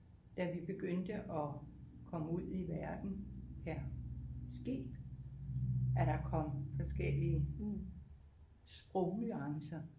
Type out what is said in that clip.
Da vi begyndte at komme ud i verden per skib er det kommet forskellige sprognuancer